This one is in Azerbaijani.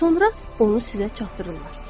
Daha sonra onu sizə çatdırırlar.